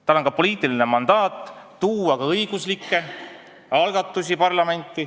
Tal on ka poliitiline mandaat tuua parlamenti õiguslikke algatusi.